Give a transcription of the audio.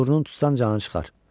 Burnun tutsan canı çıxar.